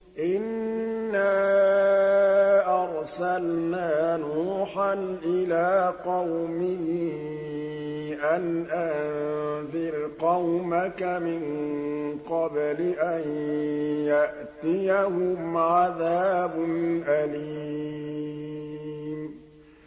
إِنَّا أَرْسَلْنَا نُوحًا إِلَىٰ قَوْمِهِ أَنْ أَنذِرْ قَوْمَكَ مِن قَبْلِ أَن يَأْتِيَهُمْ عَذَابٌ أَلِيمٌ